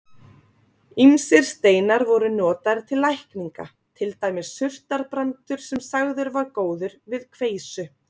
Ýmsir steinar voru notaðir til lækninga, til dæmis surtarbrandur sem sagður var góður við kveisu.